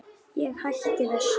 Ég hætti þessu.